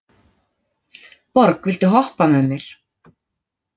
Borg, viltu hoppa með mér?